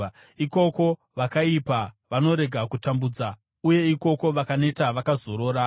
Ikoko vakaipa vanorega kutambudza, uye ikoko vakaneta vakazorora.